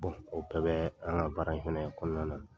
o bɛɛ bɛ an ka baara in fɛnɛ kɔnɔna na.